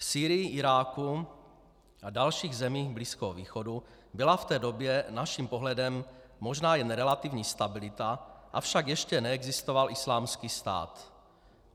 V Sýrii, Iráku a dalších zemích Blízkého východu byla v té době naším pohledem možná jen relativní stabilita, avšak ještě neexistoval Islámský stát.